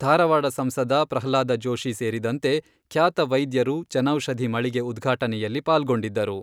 ಧಾರವಾಡ ಸಂಸದ ಪ್ರಹ್ಲಾದ ಜೋಶಿ ಸೇರಿದಂತೆ, ಖ್ಯಾತ ವೈದ್ಯರು ಜನೌಷಧಿ ಮಳಿಗೆ ಉದ್ಘಾಟನೆಯಲ್ಲಿ ಪಾಲ್ಗೊಂಡಿದ್ದರು.